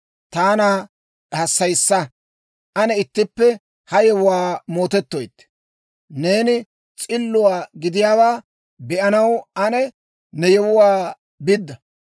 Taana hassayissa; ane ittippe ha yewuwaa mootettoytte. Neeni s'illuwaa gidiyaawaa be'anaw ane ne yewuwaa bidda.